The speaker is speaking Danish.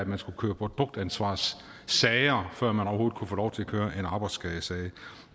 man skulle køre produktansvarssager før man overhovedet kunne få lov til at køre en arbejdsskadesag det